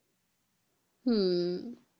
হুম